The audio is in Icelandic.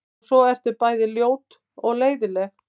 Og svo ertu bæði ljót og leiðinleg.